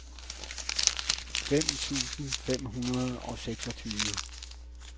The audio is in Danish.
fem tusind fem hundrede og seksogtyve